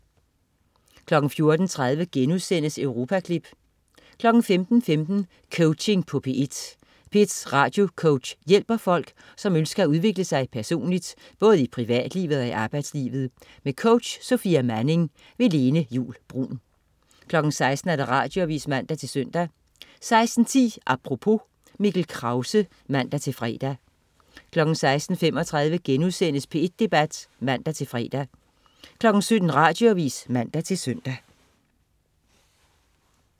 14.30 Europaklip* 15.15 Coaching på P1. P1s radiocoach hjælper folk, som ønsker at udvikle sig personligt, både i privatlivet og i arbejdslivet. Med coach Sofia Manning. Lene Juul Bruun 16.00 Radioavis (man-søn) 16.10 Apropos. Mikkel Krause (man-fre) 16.35 P1 Debat* (man-fre) 17.00 Radioavis (man-søn)